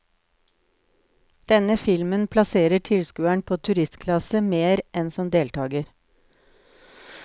Denne filmen plasserer tilskueren på turistklasse mer enn som deltager.